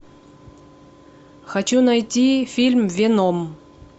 хочу найти фильм веном